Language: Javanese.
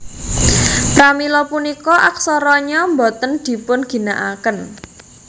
Pramila punika aksara Nya boten dipunginakaken